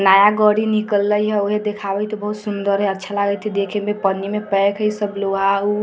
नया निकली हई ओहे दिखावे थे बहुत सुन्दर हई अच्छा लगत हई देखने में पन्नी में सब पैक हई सब लोहा ।